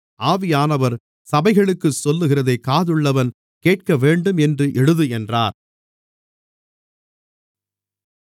ஆவியானவர் சபைகளுக்குச் சொல்லுகிறதைக் காதுள்ளவன் கேட்கவேண்டும் என்று எழுது என்றார்